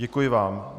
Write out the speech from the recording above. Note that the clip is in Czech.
Děkuji vám.